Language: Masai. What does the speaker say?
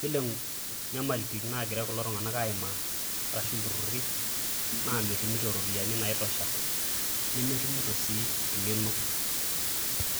Yiolo inyamalitin nagira kulo tungaanak aimaa , arashu iltururi naa metumito iropiyiani naitosha nemetumito sii engeno.